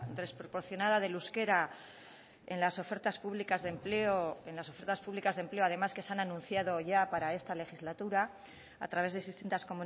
desproporcionada del euskera en las ofertas públicas de empleo en las ofertas públicas de empleo además que se han anunciado ya para esta legislatura a través de distintas